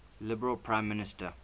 liberal prime minister